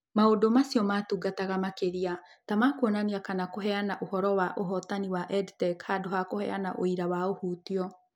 Maũndũ macio maatungataga makĩria ta ma kuonania kana kũheana ũhoro wa ũhotani wa EdTech handũ ha kũheana ũira wa ũhutio.